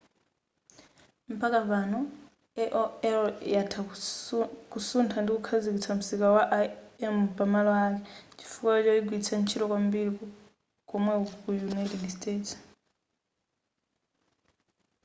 mpaka panopa aol yatha kusutha ndi kukhazikitsa msika wa im pa malo ake chifukwa choyigwiritsa ntchito kwambiri komweko ku united states